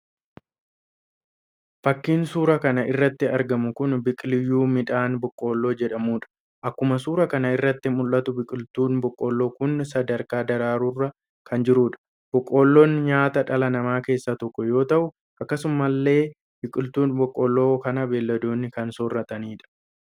Fakiin suura kan irratti argamu kun biqilyuu midhaan boqqoolloo jedhamudha. Akkuma suura kana irratti mul'atu biqiltuun boqqoollo kun sadarkaa daraaruurra kan jirudha. Boqqoollon nyaata dhala namaa keessaa tokko yoo ta'u, akkasumallee biqiltuu boqqoolloo kana beyladoonni kan soorratanidha